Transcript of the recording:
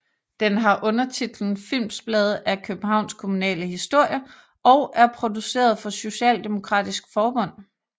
Den har undertitlen Filmsblade af Københavns kommunale Historie og er produceret for Socialdemokratisk Forbund